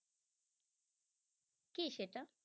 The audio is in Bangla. কি সেটা?